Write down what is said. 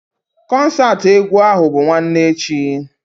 Kọnsaati egwu ahụ bụ nwanne echi